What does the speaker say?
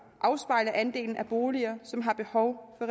afspejle andelen af boliger som har behov for